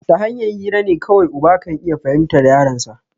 Tahanyan hirane kawai uba kan iya fahimtan yaronsa